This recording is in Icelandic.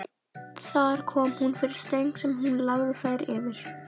Þar kom hún fyrir stöng sem hún lagði þær yfir.